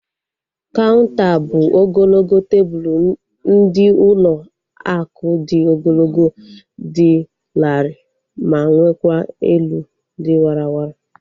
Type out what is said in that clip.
Kaunter bụ ogologo tebụlu ndị ụlọ akụ dị ogologo, dị larịị ma nwekwa elu dị warara